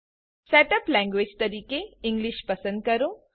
set up language તરીકે English પસંદ કરો